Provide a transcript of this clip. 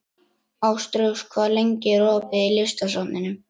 Ástrós, hvað er lengi opið í Listasafninu?